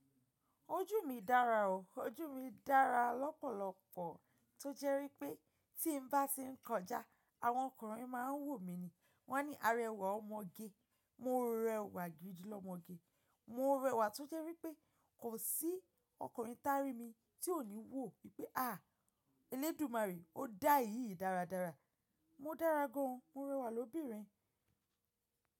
Ojú mi dára o, ojú mi dára lọ́pọ̀lọpọ̀ tó jẹ́ wípé tí n bá ti ń kọjá, àwọn ọkùnrin má a ń wò mi ni. Wọ́n á ní arẹwà ọmọge. Mo rẹwà gidi lọmọge. Mo rẹwà tó jẹ́ wípé kò sí ọkùnrin tá ri mi tí ò ní wò wípé à, elédùmarè ó dá èyí dáradára. Mo dára gan an, mo rẹwà lóbìnrin.